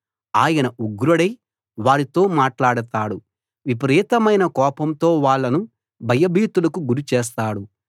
ఆయన ఉగ్రుడై వారితో మాట్లాడతాడు విపరీతమైన కోపంతో వాళ్ళను భయభీతులకు గురి చేస్తాడు